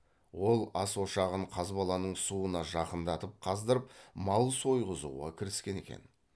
ол ас ошағын қазбаланың суына жақындатып қаздырып мал сойғызуға кіріскен екен